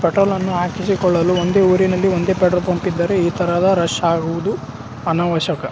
Petrol ಅನ್ನು ಹಾಕಿಸಿಕೊಳ್ಳಲು ಒಂದೇ ಊರಿನಲ್ಲಿ ಒಂದೇ ಪೆಟ್ರೋಲ್ ಪಂಪ್ ಇದ್ದರೆ ಈಥರದ ರಶ್ ಆಗುವುದು ಅನವಶ್ಯಕ .